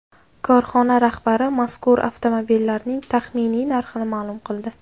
Korxona rahbari mazkur avtomobillarning taxminiy narxini ma’lum qildi.